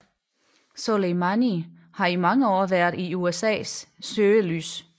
Soleimani har i mange år været i USAs søgelys